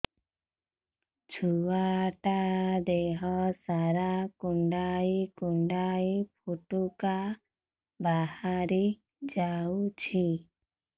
ଛୁଆ ଟା ଦେହ ସାରା କୁଣ୍ଡାଇ କୁଣ୍ଡାଇ ପୁଟୁକା ବାହାରି ଯାଉଛି